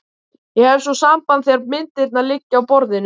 Ég hef svo samband þegar myndirnar liggja á borðinu.